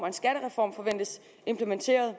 en skattereform forventes implementeret og